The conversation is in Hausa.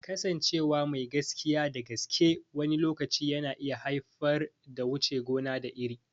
Kasancewa mai gaskiya da gaske wani lokaci na iya haifar da wuce gona da iri.